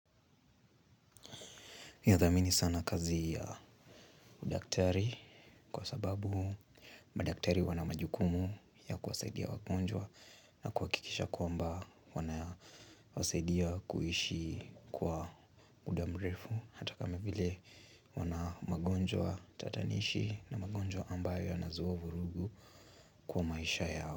Nithamini sana kazi ya udaktari kwa sababu madaktari wana majukumu ya kusaidia wagonjwa na kuhakikisha kwamba wanasaidia kuishi kwa muda mrefu hata kama vile wana magonjwa tatanishi na magonjwa ambayo yanazuwa vurugu kwa maisha yao.